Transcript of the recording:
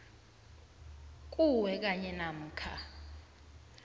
kuwe kanye namkha